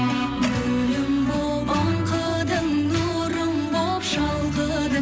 гүлім боп аңқыдың нұрым боп шалқыдың